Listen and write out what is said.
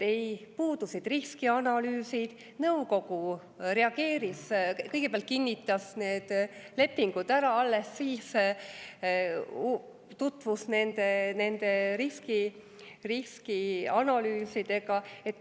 Puudusid riskianalüüsid, nõukogu reageeris nii, et kõigepealt kinnitas lepingud ära ja alles siis tutvus nende riskianalüüsidega.